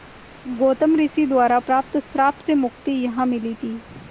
गौतम ऋषि द्वारा प्राप्त श्राप से मुक्ति यहाँ मिली थी